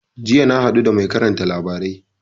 Jiya na haɗu da mai karanta labarai